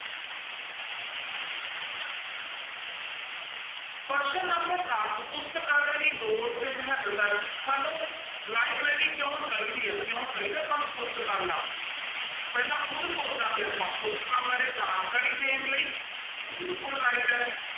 ਪ੍ਰਸ਼ਨ number ਦਸ ਪੁਸਤਕਾਲੇ ਦੀ ਲੋੜ ਤੇ ਮਹੱਤਤਾ ਸਾਨੂੰ library ਕਿਉਂ ਚਾਹੀਦੀ ਆ, ਕਿਉਂ ਚਾਹੀਦਾ ਆਪਾਂ ਨੂੰ ਪੁਸਤਕਾਲਾ, ਪਹਿਲਾਂ ਖੁੱਦ ਸੋਚਾਂਗੇ ਆਪਾਂ, ਪੁਸਤਕਾਂ ਬਾਰੇ ਜਾਣਕਾਰੀ ਦੇਣ ਲਈ, ਬਿਲਕੁਲ right ਹੈ।